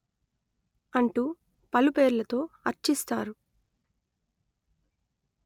అంటూ పలుపేర్లతో అర్చిస్తారు